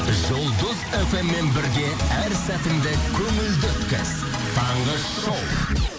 жұлдыз фммен бірге әр сәтіңді көңілді өткіз таңғы шоу